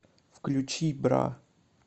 включи бра